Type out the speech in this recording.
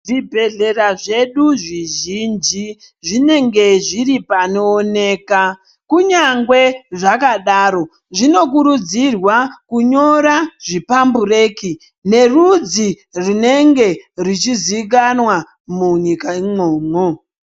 Zvibhedhlera zvedu zvizhinji zvinenge zviri panooneka. Kunyangwe zvakadaro zvinokurudzirwa kunyora zvipambureki nerudzi runenge ruchizikanwa munyika imwomwo.